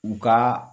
U ka